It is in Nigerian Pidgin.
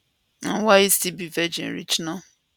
and why e still be virgin reach now